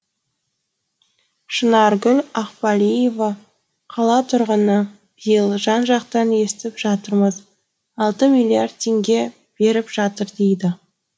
шынаргүл ақбалиева қала тұрғыны биыл жан жақтан естіп жатырмыз алты миллиард теңге беріп жатыр дейді